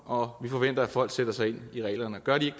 og forventer at folk sætter sig ind i reglerne gør de